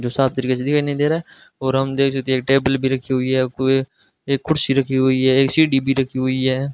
जो साफ तरीके से दिखाई नी दे रा और हम देख सकते है एक टेबल भी रखी हुई है आपको ये एक कुर्सी रखी है एक सीढ़ी भी रखी हुई है।